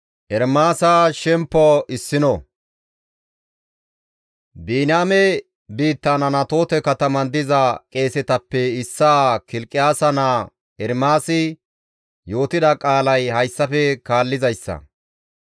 Biniyaame biittan Anatoote kataman diza qeesetappe issaa Kilqiyaasa naa Ermaasi yootida qaalay hayssafe kaallizayssa.